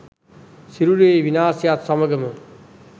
සිරුරේ විනාශයත් සමඟම